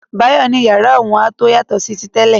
Báyọ̀ ní yàrá òun a tó yàtọ̀ sí ti tẹ́lẹ̀.